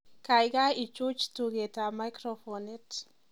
Kaikai ichuch tugetab macrophonit